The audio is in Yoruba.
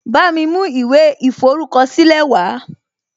Bámi mú ìwé ìforúkọ̀sílẹ̀ wàá